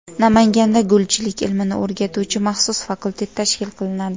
Namanganda gulchilik ilmini o‘rgatuvchi maxsus fakultet tashkil qilinadi.